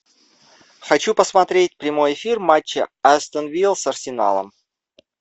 хочу посмотреть прямой эфир матча астон вилла с арсеналом